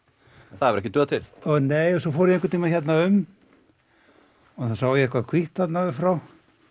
það hefur ekki dugað til nei svo fór ég einhvern tímann hérna um og þá sá ég eitthvað hvítt þarna upp frá